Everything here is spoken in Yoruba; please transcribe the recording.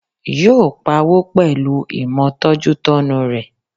Yóò pawó pẹ̀lúu ìmọ̀ tọ́jútọ́nu rẹ̀